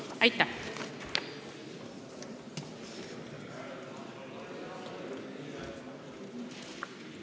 Aitäh!